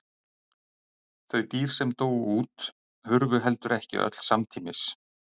Þau dýr sem dóu út hurfu heldur ekki öll samtímis.